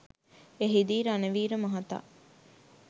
එහිදී රණවීර මහතා